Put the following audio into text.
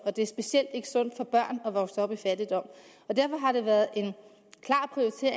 og det er specielt ikke sundt for børn at vokse op i fattigdom derfor har det været